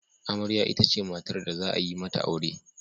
Amarya itace matar da za a yi mata aure.